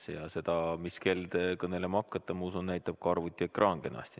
Seda, mis kell te kõnelema hakkate, ma usun, näitab ka arvutiekraanil olev kell kenasti.